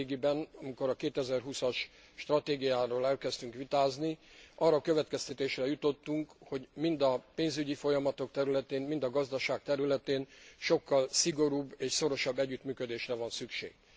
Nemrégiben, amikor a 2020 as stratégiáról elkezdtünk vitázni, arra a következtetésre jutottunk, hogy mind a pénzügyi folyamatok területén, mind a gazdaság területén sokkal szigorúbb és szorosabb együttműködésre van szükség.